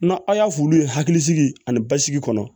Na aw y'a f'olu ye hakilisigi ani basigi kɔnɔ